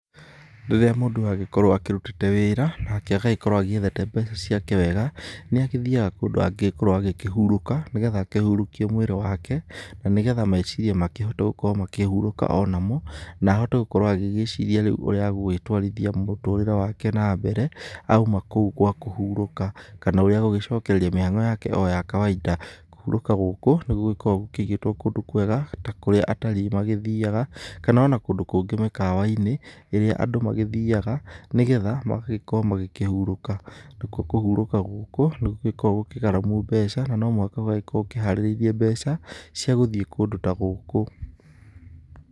Rĩrĩa mũndũ agĩkorwo akĩrutĩte wĩra nake agagĩkorwo agĩethete mbeca ciake wega, nĩagĩthiaga kũndũ angĩgĩkorwo akĩhurũka nĩgetha akĩhurũkie mwĩrĩ wake na nĩgetha meciria makĩhote gũkorwo makĩhurũka onamo, na ahote gũkorwo agĩgĩciria rĩu ũrĩa agũgĩtwarithia mũtũrĩre wake na mbere auma kũu gwa kũhurũka kana ũrĩa agũgĩcokereria mĩhang'o yake o ya kawaida. Kũhurũka gũkũ nĩgũgĩkoragwo gũkĩigĩtwo kũndũ kwega ta kũrĩa atalii mathiaga, kana onakũndũ kũngĩ mĩkawa-inĩ ĩrĩa andũ magĩthiaga nĩgetha magagĩkorwo magĩkĩhurũka. Nakwo kũhurũka gũkũ nĩ gũgĩkoragwo gũkĩ gharamu mbeca na no mũhaka ũgagĩkorwo ũkĩharĩrĩirie mbeca cia gũthiĩ kũndũ ta gũkũ.